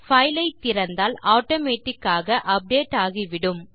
file ஐ திறந்தால் automatic ஆக அப்டேட் ஆகிவிடும்